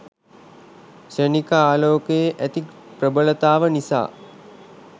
ක්ෂණික ආලෝකයේ ඇති ප්‍රභලතාව නිසා